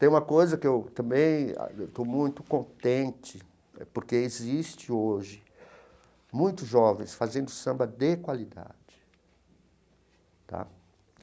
Tem uma coisa que eu também estou muito contente, porque existe hoje muitos jovens fazendo samba de qualidade tá.